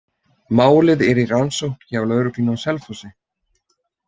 Málið er í rannsókn hjá lögreglunni á Selfossi.